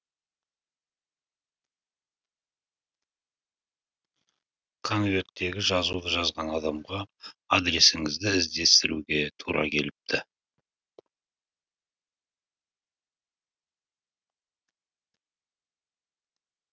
конверттегі жазуды жазған адамға адресіңізді іздестіруге тура келіпті